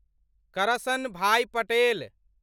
Karsanbhai Patel